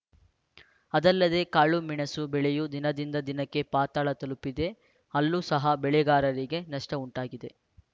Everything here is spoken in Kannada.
ಅದಲ್ಲದೇ ಕಾಳುಮೆಣಸು ಬೆಲೆಯೂ ದಿನದಿಂದ ದಿನಕ್ಕೆ ಪಾತಾಳ ತಲುಪಿದೆ ಅಲ್ಲೂ ಸಹ ಬೆಳೆಗಾರರಿಗೆ ನಷ್ಟಉಂಟಾಗಿದೆ